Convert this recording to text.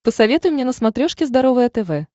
посоветуй мне на смотрешке здоровое тв